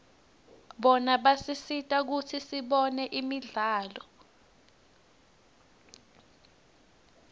bona basisita kutsi sibone imidlalo